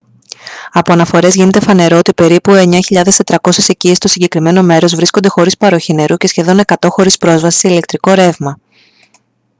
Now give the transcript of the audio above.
από αναφορές γίνεται φανερό ότι περίπου 9400 οικίες στο συγκεκριμένο μέρος βρίσκονται χωρίς παροχή νερού και σχεδόν 100 χωρίς πρόσβαση σε ηλεκτρικό ρεύμα